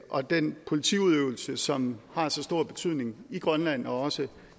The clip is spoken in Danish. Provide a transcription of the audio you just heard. og den politiudøvelse som har stor betydning i grønland og også